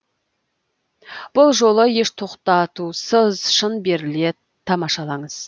бұл жолы еш тоқтатусыз шын беріле тамашалаңыз